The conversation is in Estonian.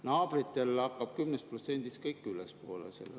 Naabritel hakkab see 10%‑st ja läheb ülespoole.